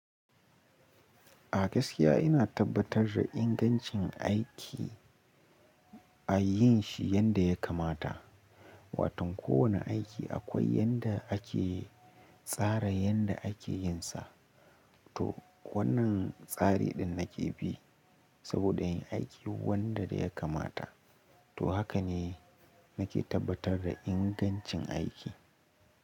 A gaskiya ina tabbatar da ingancin aiki, a yin shi yadda ya kamata. Watan kowane aiki akwai yanda ake tsara yanda ake yin sa. To, wannan tsari ɗin nake bi, saboda in aiki wanda ya kamata. To haka ne nake tabbatar da ingancin aiki.